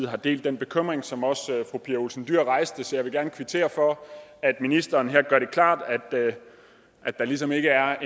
har delt den bekymring som også fru pia olsen dyhr rejste så jeg vil gerne kvittere for at ministeren her gør det klart at der ligesom ikke er